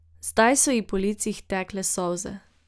Zdaj so ji po licih tekle solze.